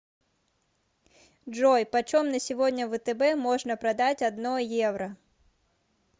джой почем на сегодня в втб можно продать одно евро